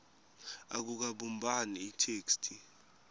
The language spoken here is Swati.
akukabumbani itheksthi